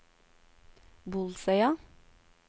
Bolsøya